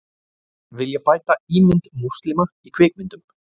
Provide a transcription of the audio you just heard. Vilja bæta ímynd múslima í kvikmyndum